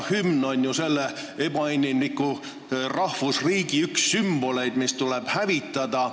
Hümn on ju selle ebainimliku rahvusriigi üks sümboleid, mis tuleb hävitada.